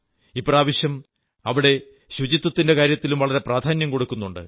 ഇപ്രാവശ്യം ഇവിടെ ശുചിത്വത്തിന്റെ കാര്യത്തിലും വളരെ പ്രധാന്യം കൊടുക്കുന്നുണ്ട്